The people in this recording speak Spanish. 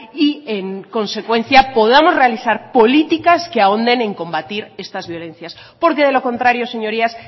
y en consecuencia podamos realizar políticas que ahonden en combatir estas violencias porque de lo contrario señorías